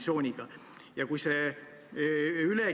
Siit tulebki välja üks süsteemne probleem.